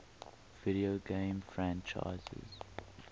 video game franchises